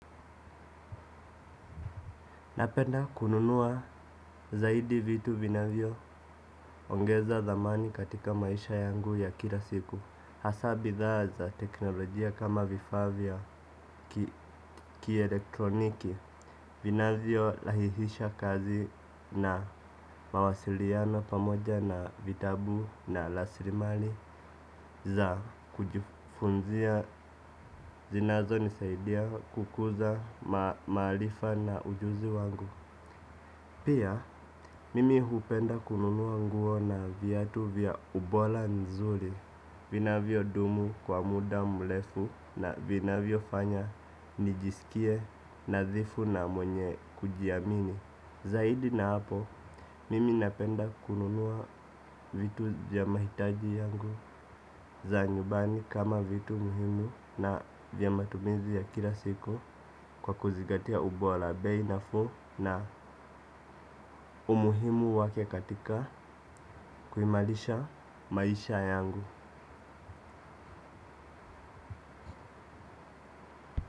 Napenda kununua zaidi vitu vinavyoongeza thamani katika maisha yangu ya kila siku. Hasa bidhaa za teknolojia kama vifaa vya kielektroniki vinavyo rahihisha kazi na mawasiliano pamoja na vitabu na raslimali za kujifunzia zinazo nisaidia kukuza maarifa na ujuzi wangu. Pia, mimi hupenda kununua nguo na viatu vya ubora nzuri. Vinavyo dumu kwa muda mrefu na vinavyofanya nijisikie nadhifu na mwenye kujiamini. Zaidi na hapo, mimi napenda kununua vitu vya mahitaji yangu za nyumbani kama vitu muhimu na vya matumizi ya kila siku kwa kuzigatia ubora bei nafuu na umuhimu wake katika kuimarisha maisha yangu.